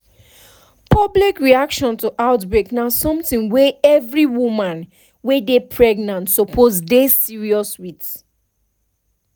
public reaction to outbreak na something wey every woman wey dey pregnant suppose dey serious with